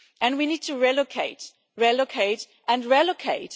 We need to relocate, relocate and relocate.